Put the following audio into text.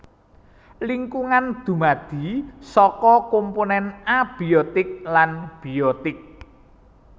Lingkungan dumadi saka komponèn abiotik lan biotik